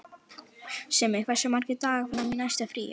Simmi, hversu margir dagar fram að næsta fríi?